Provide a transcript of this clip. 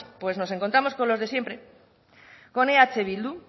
pues nos encontramos con los de siempre con eh bildu